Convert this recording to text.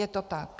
Je to tak.